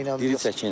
Diri çəkiylə?